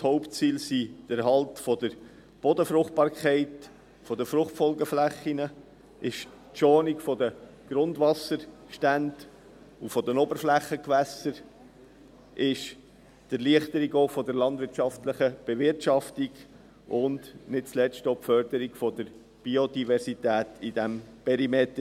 Die Hauptziele sind der Erhalt der Bodenfruchtbarkeit, der Fruchtfolgeflächen, die Schonung der Grundwasserstände und der Oberflächengewässer, die Erleichterung der landwirtschaftlichen Bewirtschaftung und nicht zuletzt auch die Förderung der Biodiversität in diesem Perimeter.